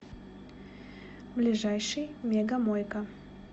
ближайший мега мойка